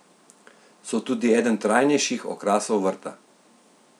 So tudi eden trajnejših okrasov vrta.